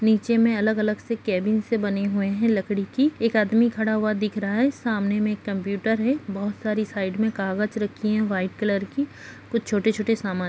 नीचे में अलग-अलग से केबिन से बने हुए हैं लकड़ी की एक आदमी खड़ा हुआ दिख रहा है सामने में एक कंप्यूटर है बहुत सारी साइड में कागज रखी हैं वाईट कलर की कुछ छोटे-छोटे सामान --